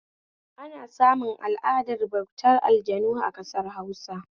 Ana samun al'adar bautar aljanu a ƙasar Hausa